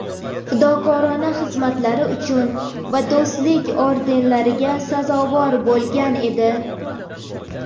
"Fidokorona xizmatlari uchun" va "Do‘stlik" ordenlariga sazovor bo‘lgan edi.